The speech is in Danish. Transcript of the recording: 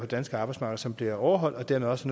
danske arbejdsmarked som bliver overholdt og dermed også